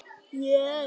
Ásvallagötu